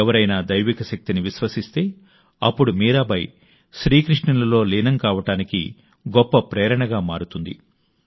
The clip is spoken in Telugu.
ఎవరైనా దైవిక శక్తిని విశ్వసిస్తే అప్పుడు మీరాబాయి శ్రీ కృష్ణునిలో లీనం కావడం వారికి గొప్ప ప్రేరణగా మారుతుంది